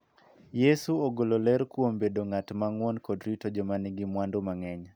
Yesu ogolo ler kuom bedo ng�at ma ng�won kod rito joma nigi mwandu mang�eny.